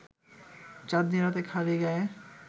চাঁদনি রাতে খালি গায়ে